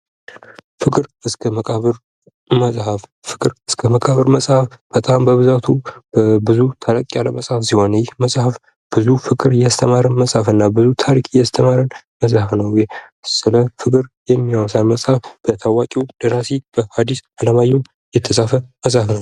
ፍቅር እስከ መቃብር መጽሃፍ፤ ፍቅር እስከ መቃብር መጽሐፍ በጣም በብዛቱ ብዙ ተለቅያለ ለመጻፍ ሲሆን ይህ የመጽሐፍ ብዙ ፍቅር ያስተማረ መጽሃፍና ብዙ ታሪክ እያስተማረ መጽሃፍ ነው። ስለ ፍቅር የሚያወሳ መጽሐፍ በታዋቂው ደራሲ በሀዲስ አለማየሁ የተፃፈ መሐፍ ነው።